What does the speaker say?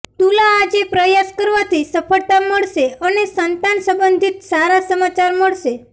તુલાઆજે પ્રયાસ કરવાથી સફળતા મળશે અને સંતાન સંબંધિત સારા સમાચાર મળશે